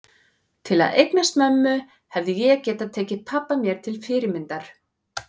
Til að eignast mömmu hefði ég getað tekið pabba mér til fyrirmyndar.